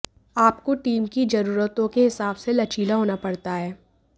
आपको टीम की जरूरतों के हिसाब से लचीला होना पड़ता है